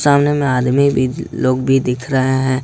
सामने में आदमी भी लोग भी दिख रहे हैं।